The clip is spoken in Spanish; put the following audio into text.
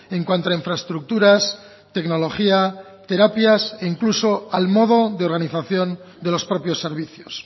en cuanto a infraestructuras tecnología terapias e incluso al modo de organización de los propios servicios